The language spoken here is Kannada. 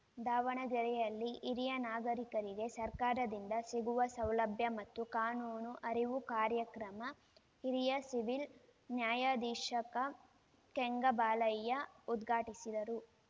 ದಾವಣಗೆರೆಯಲ್ಲಿ ಹಿರಿಯ ನಾಗರಿಕರಿಗೆ ಸರ್ಕಾರದಿಂದ ಸಿಗುವ ಸೌಲಭ್ಯ ಮತ್ತು ಕಾನೂನು ಅರಿವು ಕಾರ್ಯಕ್ರಮ ಹಿರಿಯ ಸಿವಿಲ್‌ ನ್ಯಾಯಾಧೀಶಕ ಕೆಂಗಬಾಲಯ್ಯ ಉದ್ಘಾಟಿಸಿದರು